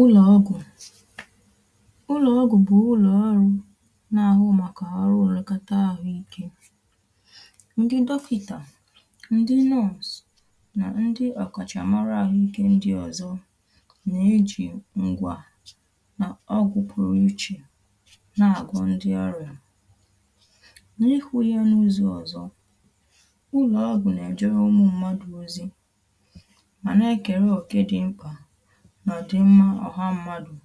ụlọ̀ ọgụ̀ ụlọ̀ ọgụ̀ bụ̀ ụlọ̀ ọrụ na-ahụ màkà ọrụ o legata àhụike ndị dọkịta ndị nọọsụ̀ na ndị ọkàchàmara ahụike ndị ọzọ na-eji ngwa nà ọgụ̀ pụrụ ichè na-agụ̀ ndị ọrịà na-ekwu ya n’ụzọ̀ ọzọ̀ ụlọ̀ ọgụ̀ na-ejere ụmụ̀ mmadụ̀ ozi ma nà-ekere oke dị mkpa nà dị mmȧ ọhȧ mmadụ̀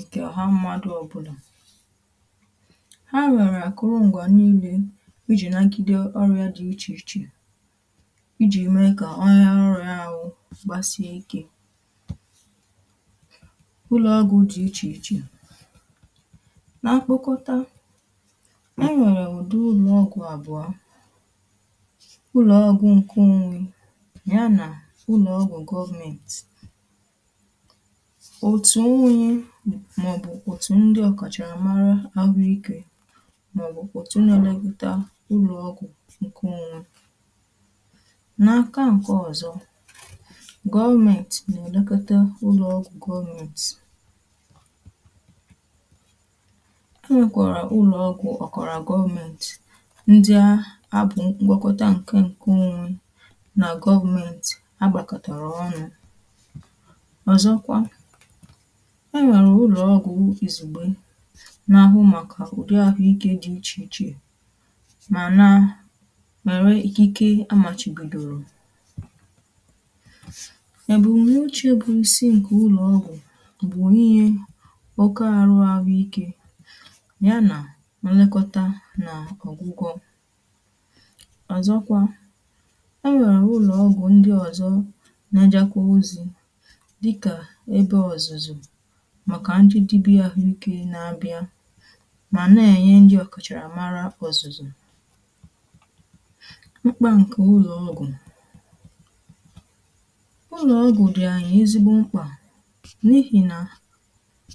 ǹkè ọha mmadụ̀ ọ̀bụlà ha nwere àkụrụngwà niilė ijì nàgide ọrịà dị̀ ichè ichè ijì mee kà ọọ̇ ya ọrịà awụ̇ gbàsìe ike ụlọ̀ ọgwụ̀ dị̀ ichè ichè nà-akpọkọta enwèrè ụ̀dị ụlọ̀ ọgwụ̇ àbụ̀ọ ụlọ̀ ọgwụ̀ nkè onwe nyà nà ụlọ̀ ọgwụ̀ government òtù onwe màọbụ̀ òtù ndị ọ̀kàchàmara ahụ ike màọbụ̀ òtù nà-èlekọta ụlọ̀ọgwụ̀ ǹkè onwe n’aka nke ọ̀zọ gọọmentì nà-èlekọta ụlọ̀ọgwụ̀ gọọmentì pause e nwèkwàrà ụlọ̀ọgwụ̀ ọ̀kọ̀rọ̀ gọọmentì ndịa a bụ̀ mgbakọta ǹkè onwe nà gọọmentì agbàkọ̀tàrà ọnụ̇ ọ̀zọkwa e nwèrè ụlọ̀ ọgwụ̀ ìzùgbe n’ahụ màkà ụ̀dị ahụ̀ ike dị̇ ichè ichè mà na-èrè ikike amàchìbìdòrò èbùmnuche bụ̀ isi ǹkè ụlọ̀ ọgwụ̀ bụ̀ ihe oke arụ ahụike ike yanà nlekọta nà ọ̀gwụgwọ ọ̀zọkwa e nwèrè ụlọ̀ ọgwụ̀ ndị ọ̀zọ n’ejakwa ozi dị ka ebe ọzụzụ màkà ndị dibịa àhụikė nà abịa mà na-ènye ndị ọkàchàrà mara ọ̀zụ̀zụ̀ mkpà ǹkè ụlọ̀ ọgụ̀ pause ụlọ̀ ọgụ̀ dị̀ ànyị̀ ezigbo mkpà n’ihì nà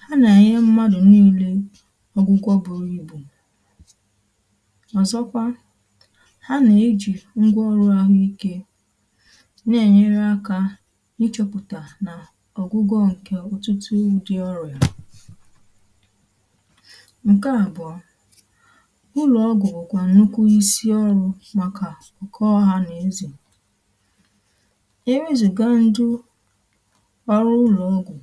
ha nà-ènye mmadụ̀ niilė ọ̀gwụgwọ bùrù ibù ọ̀zọkwa ha nà-ejì ngwa ọrụ àhụikė Na-enyere aka ịchepụta na ọgwụgwọ ǹkè ụtụtụ ụdị ọrịà nkè abụọ ụlọ̀ ọgụ̀gụ̀ nwèkwàrà nnukwu isi ọrụ̇ màkà nkè ọhȧ n’eze e nweezìga ndụ ọrụ ụlọ̀ ugwù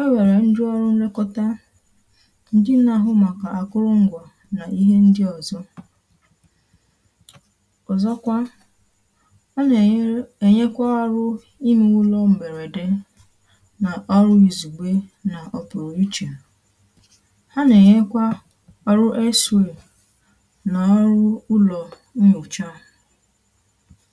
o nwèrè ndụ ọrụ nlekọta ndị nà-àhụ màkà àkụrụngwȧ nà ihe ndị ọ̀zọ ọ̀zọkwa a nà-ènyekwa arụ̇ ihe ụlọ m̀bèrèdè nà ọrụ ịzugbe na ọpụrụ ichè ha nà-ẹ̀nyẹkwa arụ ésre nà ọrụ ụlọ̀ nnyòcha